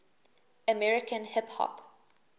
american hip hop